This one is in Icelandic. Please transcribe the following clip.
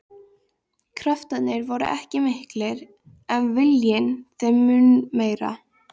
Kraftarnir voru ekki miklir en viljinn þeim mun meiri.